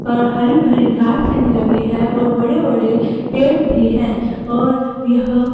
और हरी भरी है घास भी लगी है और बड़े बड़े पेड़ भी हैं और यह--